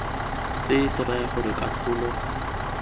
se se raya gore katlholo